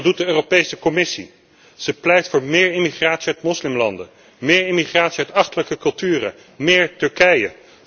En wat doet de Europese Commissie? Zij pleit voor meer immigratie uit moslimlanden, meer immigratie uit achterlijke culturen, meer Turkije.